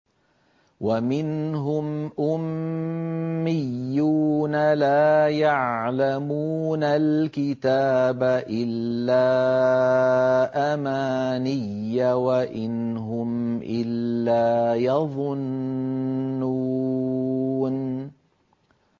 وَمِنْهُمْ أُمِّيُّونَ لَا يَعْلَمُونَ الْكِتَابَ إِلَّا أَمَانِيَّ وَإِنْ هُمْ إِلَّا يَظُنُّونَ